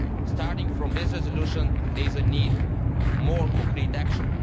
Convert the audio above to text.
Starting from this resolution, there is a need for more concrete action.